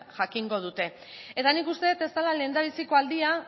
jakingo dute eta nik uste dut ez dela lehendabiziko aldia